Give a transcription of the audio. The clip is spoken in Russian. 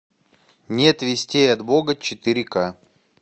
нет вестей от бога четыре ка